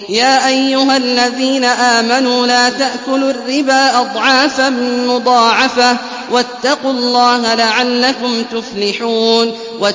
يَا أَيُّهَا الَّذِينَ آمَنُوا لَا تَأْكُلُوا الرِّبَا أَضْعَافًا مُّضَاعَفَةً ۖ وَاتَّقُوا اللَّهَ لَعَلَّكُمْ تُفْلِحُونَ